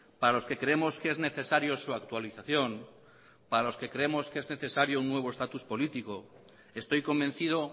para los que creemos que es necesario su actualización para los que creemos que es necesario un nuevo estatus político estoy convencido